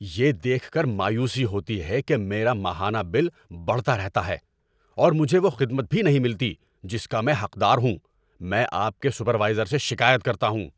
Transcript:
یہ دیکھ کر مایوسی ہوتی ہے کہ میرا ماہانہ بل بڑھتا رہتا ہے، اور مجھے وہ خدمت بھی نہیں ملتی جس کا میں حقدار ہوں۔ میں آپ کے سپروائزر سے شکایت کرتا ہوں۔